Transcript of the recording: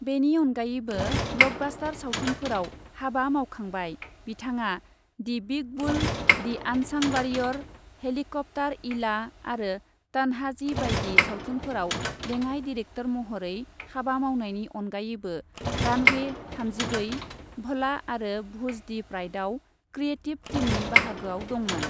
बेनि अनगायैबो ब्लकबास्टार सावथुनफोराव हाबा मावखांबाय। बिथाङा the big bull, the unsung warrior, helicopter Eela आरो तन्हाजी बायदि सावथुनफोराव लेङाइ डिरेक्टर महरै हाबा मावनायनि अनगायैबो रानवे थामजिब्रै, भला आरो भुज दि प्राइडआव क्रिएटिभ टीमनि बाहागोआव दङमोन।